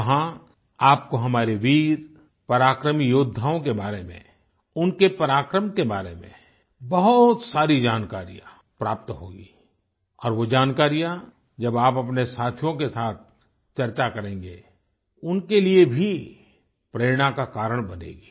वहां आपको हमारे वीर पराक्रमी योद्धाओं के बारे में उनके पराक्रम के बारे में बहुत सारी जानकारियां प्राप्त होगी और वो जानकारियां जब आप अपने साथियों के साथ चर्चा करेंगे उनके लिए भी प्रेरणा का कारण बनेगी